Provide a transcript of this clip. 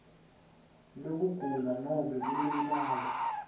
lwekugula nobe kulimala